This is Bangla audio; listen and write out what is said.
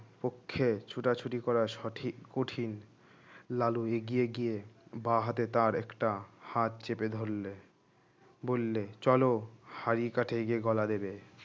পক্ষে ছোটাছুটি করা সঠিক কঠিন লালু এগিয়ে গিয়ে বাহাতে তার একটা হাত চেপে ধরলে বললে চলো হাড়ি কাঠে গিয়ে গলা দেবে